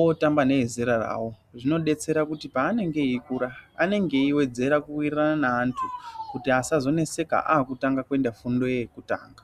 otamba neezera rawo zvinodetsera kuti paanenge eikura anenge eiwedzera kuwirirana neantu kuti asazonetseeka akutanga fundo yekutanga.